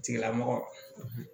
Tigilamɔgɔ